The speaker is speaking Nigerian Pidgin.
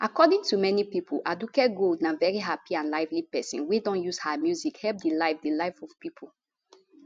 according to many pipo aduke gold na veri happy and lively pesin wey don use her music help di life di life of pipo